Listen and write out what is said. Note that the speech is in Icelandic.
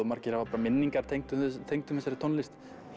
margir hafa bara minningar tengdar tengdar þessari tónlist